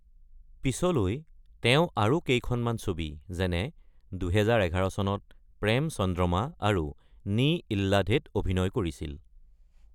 পিছলৈ তেওঁ আৰু কেইখনমান ছবি, যেনে ২০১১ চনত প্ৰেম চন্দ্ৰমা আৰু নী ইল্লাধেত অভিনয় কৰিছিল।